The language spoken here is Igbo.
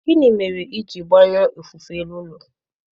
Gịnị mere i ji gbanyụọ ofufe elu ụlọ